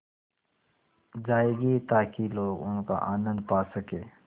जाएगी ताकि लोग उनका आनन्द पा सकें